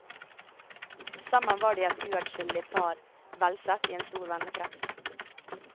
Sammen var de et uadskillelig par, velsett i en stor vennekrets.